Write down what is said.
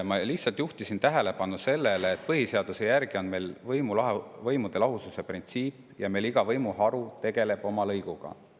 Ma lihtsalt juhtisin tähelepanu sellele, et põhiseaduse järgi on meil võimude lahususe printsiip ja meil iga võimuharu tegeleb oma lõiguga.